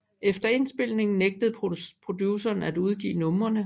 Efter indspilningen nægtede produceren at udgive numrene